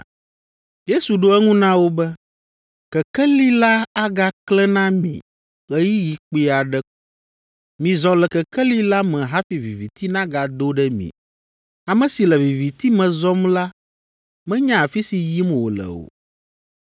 Yesu ɖo eŋu na wo be, “Kekeli la agaklẽ na mi ɣeyiɣi kpui aɖe ko. Mizɔ le kekeli la me hafi viviti nagado ɖe mi. Ame si le viviti me zɔm la menya afi si yim wòle o.